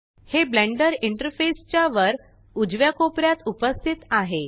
हे Blender interface च्या वर उजव्या कोपऱ्यात उपस्थित आहे